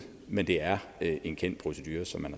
men det er en kendt procedure som man